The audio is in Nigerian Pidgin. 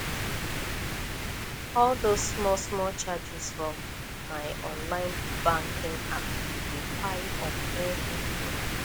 all those smallsmall charges from my online banking app dey pile up every year